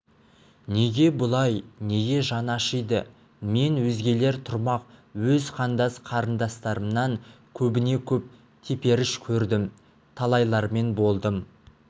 неге бұлай неге жаны ашиды мен өзгелер тұрмақ өз қандас қарындастарымнан көбіне-көп теперіш көрдім талайлармен болдым